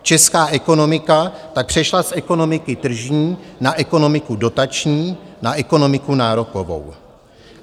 Česká ekonomika tak přešla z ekonomiky tržní na ekonomiku dotační, na ekonomiku nárokovou.